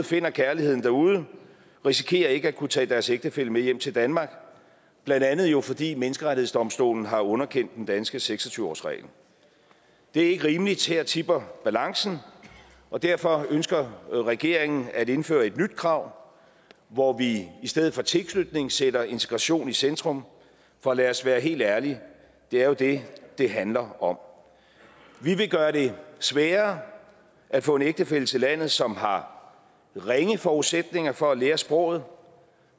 finder kærligheden derude risikerer ikke at kunne tage deres ægtefælle med hjem til danmark blandt andet jo fordi menneskerettighedsdomstolen har underkendt den danske seks og tyve årsregel det er ikke rimeligt og her tipper balancen og derfor ønsker regeringen at indføre et nyt krav hvor vi i stedet for tilknytning sætter integration i centrum for lad os være helt ærlige det er jo det det handler om vi vil gøre det sværere at få en ægtefælle til landet som har ringe forudsætninger for at lære sproget